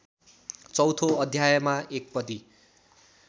चौथो अध्यायमा एकपदी